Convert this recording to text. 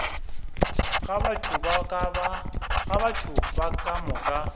ga batho ba ka moka